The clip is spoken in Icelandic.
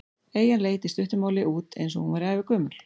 Eyjan leit í stuttu máli út eins og hún væri ævagömul.